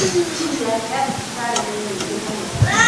mbilu yake ya thibitarī nī nyingī mūno.